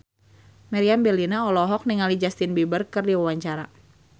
Meriam Bellina olohok ningali Justin Beiber keur diwawancara